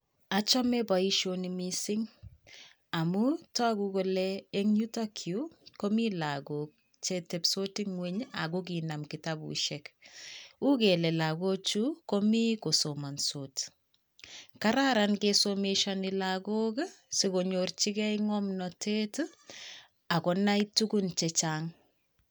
Achome boisioni missing amun togu kole eng' yutok yu ko mi lagok chetebsot eng' ngwony ago kinam kitabusiek. U kele lagochu komii ko somansot. Kararan kisomeshoni lagok, sikonyorjigei ng'omnotet agonai tugun chechang'.